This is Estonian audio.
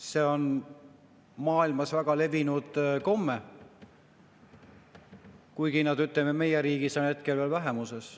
See on maailmas väga levinud komme, kuigi see, ütleme, meie riigis on hetkel veel vähemuses.